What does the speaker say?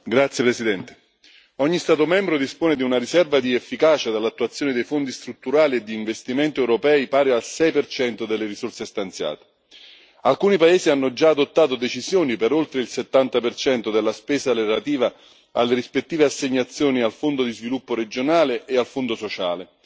Signor Presidente, onorevoli colleghi, ogni Stato membro dispone di una riserva di efficacia dall'attuazione dei fondi strutturali e di investimento europei pari al 6 delle risorse stanziate. Alcuni paesi hanno già adottato decisioni per oltre il 70 della spesa relativa alle rispettive assegnazioni al Fondo di sviluppo regionale e al Fondo sociale.